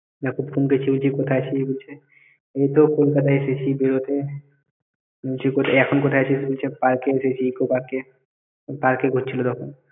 Yakub phone করছে বলছি কোথায় আছিস বলছে এইতো কলকাতায় এসেছি বেরোতে আমি বলছি এখন কোথায় আছিস বলছে park এ এসেছি eco-park park ঘুরছিল তখন